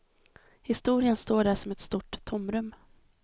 Historien står där som ett stort tomrum.